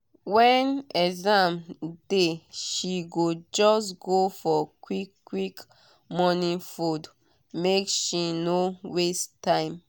when exam dey she go just go for quick quick morning food make she no waste time.